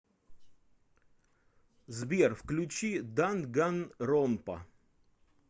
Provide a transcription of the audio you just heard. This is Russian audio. сбер включи данганронпа